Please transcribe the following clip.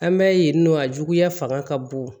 An bɛ yen nɔ a juguya fanga ka bon